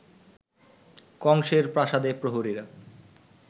কংসের প্রাসাদে প্রহরীরা